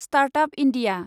start up India